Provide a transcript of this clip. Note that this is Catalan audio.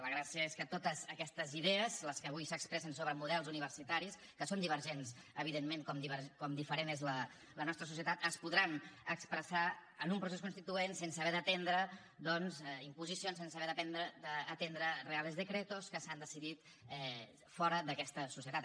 la gràcia és que totes aquestes idees les que avui s’expressen sobre models universitaris que són divergents evidentment com diferent és la nostra societat es podran expressar en un procés constituent sense haver d’atendre doncs imposicions sense haver d’atendre reales decretos que s’han decidit fora d’aquesta societat